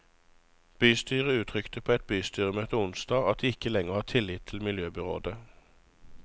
Bystyret uttrykte på et bystyremøte onsdag at det ikke lenger har tillit til miljøbyråden.